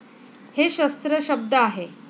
हे शस्त्र शब्द आहे.